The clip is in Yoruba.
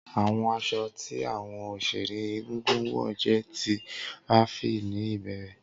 Awọn aṣọ ti awọn oṣere egungun wọ jẹ ti raffia ni ibẹrẹ.